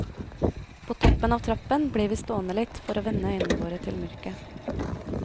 På toppen av trappen blir vi stående litt for å venne øynene våre til mørket.